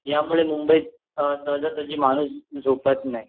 या मुळे मुंबईत सहजासहजी माणूस झोपवत नाही